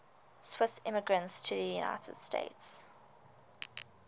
swiss immigrants to the united states